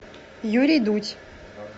юрий дудь